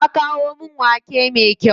Ta kawo min wake me kyau.